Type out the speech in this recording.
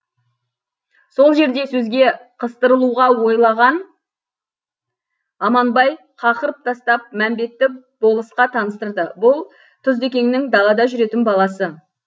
сол жерде сөзге қыстырылуға ойлаған аманбай қақырып тастап мәмбетті болысқа таныстырды бұл тұздыекеңнің далада жүретін баласы